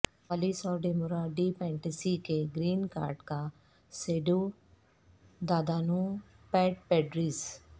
کوالس اور ڈیمورا ڈی پیٹنسی کے گرین کارڈ کا سیڈودادانو پیڈ پیڈریس